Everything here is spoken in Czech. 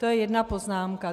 To je jedna poznámka.